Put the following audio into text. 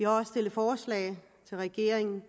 også stillet forslag til regeringen